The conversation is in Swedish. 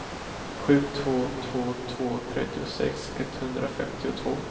sju två två två trettiosex etthundrafemtiotvå